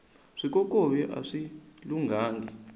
swikokovi aswi lunghangi